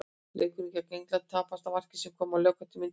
Leikurinn gegn Englandi tapaðist á marki sem kom á lokamínútu leiksins.